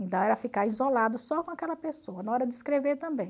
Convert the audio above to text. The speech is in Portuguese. Então, era ficar isolado só com aquela pessoa, na hora de escrever também.